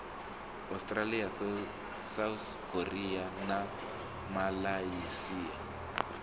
australia south korea na malaysia